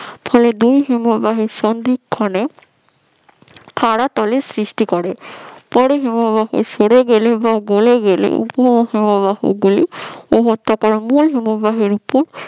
এই দুই হিমবাহের সংযোগস্থলে খাড়া পোল সৃষ্টি করে। পরে হিমবাহ সরে গেলে বা গলে গেলে ওই হিমবাহ গুলি উপত্যকার মূল হিমবাহের উপর